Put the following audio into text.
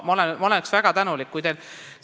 Ma oleksin väga tänulik, kui te seda teeksite.